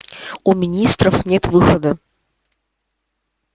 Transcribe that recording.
у министерства нет выхода